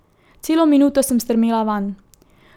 Celo minuto sem strmela vanj.